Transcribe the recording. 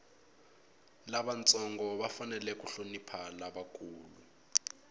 lavantsongo va fanele ku hlonipha lavakulu